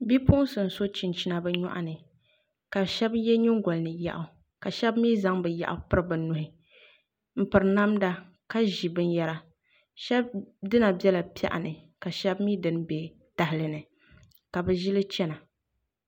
Bipuɣunsi n so chinchina bi nyoɣani ka shab yɛ nyingoli ni yaɣu ka shab mii zaŋ bi yaɣu piri bi nuhi n piri namda ka ʒi binyɛra shab dina biɛla piɛɣu ni ka shab mii dini bɛ tahali ni ka bi ʒili chɛna